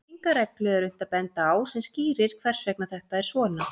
Enga reglu er unnt að benda á sem skýrir hvers vegna þetta er svona.